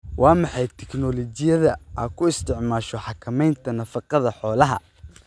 Waa maxay tignoolajiyada aad ku isticmaasho xakamaynta nafaqada xoolaha?